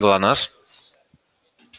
глонассс